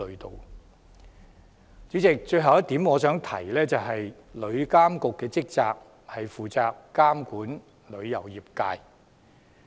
代理主席，我想提的最後一點是，旅監局的職責是監管旅遊業界。